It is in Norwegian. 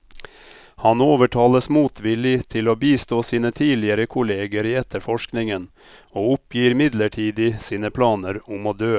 Han overtales motvillig til å bistå sine tidligere kolleger i etterforskningen, og oppgir midlertidig sine planer om å dø.